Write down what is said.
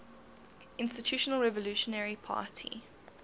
institutional revolutionary party